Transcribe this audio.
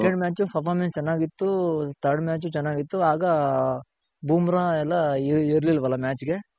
second match performance ಚೆನ್ನಾಗಿತ್ತು third match ಚೆನಾಗಿತ್ತು ಆಗ ಬೂಮ್ರ ಎಲ್ಲ ಇರ್ಲಿಲ್ವಲ match ಗೆ.